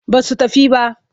Ba su tafi ba.